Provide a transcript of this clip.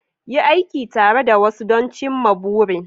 Yi aiki tare da wasu don cimma burin